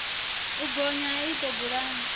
u bonya ha iṱo bulani